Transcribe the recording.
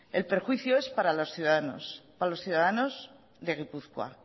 el perjuicio es para los ciudadanos de gipuzkoa